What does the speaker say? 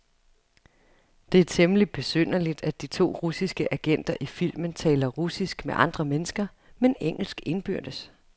Det er temmeligt besynderligt, at de to russiske agenter i filmen taler russisk med andre mennesker, men engelsk indbyrdes.